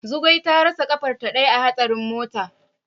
Zugwai ta rasa kafarta daya a hatsarin mota.